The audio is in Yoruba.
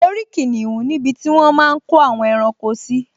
Mo rí kìnìún níbi tí wọ́n máa n kó àwọn ẹranko sí